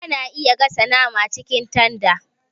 Ana iya gasa nama cikin tanda